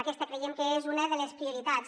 aquesta creiem que és una de les prioritats